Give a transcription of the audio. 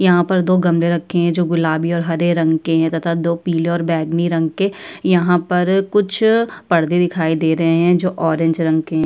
यहां पर दो गमले रखे हैं जो गुलाबी और हरे रंग के हैं तथा दो पीले और बैगनी रंग के। यहां पर कुछ पर्दे दिखाई दे रहे हैं जो ऑरेंज रंग के --